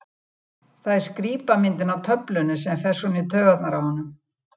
Það er skrípamyndin á töflunni sem fer svona í taugarnar á honum.